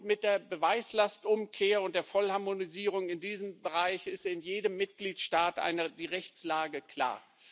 Mit der Beweislastumkehr und der Vollharmonisierung in diesem Bereich ist in jedem Mitgliedstaat die Rechtslage klar.